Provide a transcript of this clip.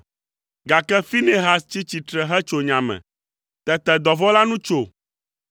Gake Finehas tsi tsitre hetso nya me, tete dɔvɔ̃ la nu tso.